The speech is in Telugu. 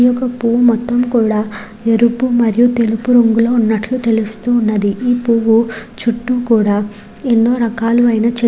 ఈ యొక్క పూవు మొత్తము కూడా ఎరుపు మరియు తెలుపు రంగు లో ఉన్నట్లు తెలుస్తున్నది ఈ పువ్వు చుట్టూ కూడా ఎన్నో రకాలైన చే --